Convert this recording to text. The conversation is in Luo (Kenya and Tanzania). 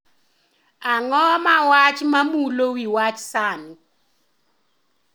Ang'o ma wach ma mulo wi wach sani